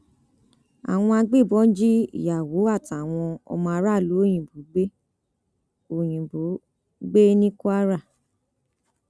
àwọn agbébọn jí ìyàwó àtàwọn ọmọ aráàlú òyìnbó gbé òyìnbó gbé ní kwara